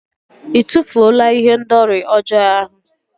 Ị tụfuola ihendori ọjọọ ahụ?